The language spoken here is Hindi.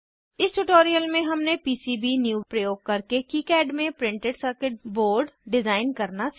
इस ट्यूटोरियल में हमने पीसीबीन्यू प्रयोग करके किकाड में प्रिंटेड सर्किट बोर्ड डिज़ाइन करना सीखा